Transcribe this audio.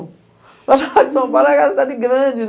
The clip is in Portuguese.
Eu achava que São Paulo era uma cidade grande